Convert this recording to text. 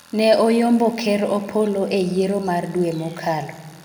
ne oyombo ker Opollo e yiero mar dwe mokalo